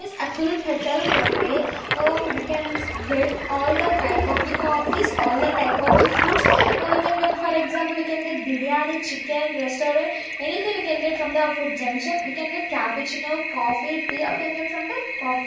is atul patel cafe ah we can get all the type of the coffees all the type of the foods we can get for example you can get biryani chicken restaurant anything we can get from the food junction we can get capuchino coffee tea we can get from that coff --